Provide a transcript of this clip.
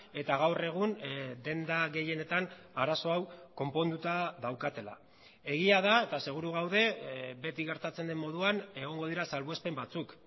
eta gaur egun denda gehienetan arazo hau konponduta daukatela egia da eta seguru gaude beti gertatzen den moduan egongo dira salbuespen batzuk